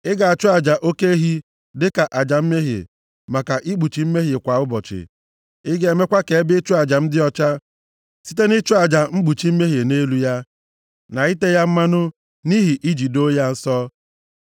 Ị ga-achụ aja oke ehi dịka aja mmehie maka ikpuchi mmehie kwa ụbọchị. Ị ga-emekwa ka ebe ịchụ aja m dị ọcha, site nʼịchụ aja mkpuchi mmehie nʼelu ya, na ite ya mmanụ nʼihi iji doo ya nsọ.